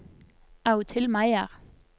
Audhild Meyer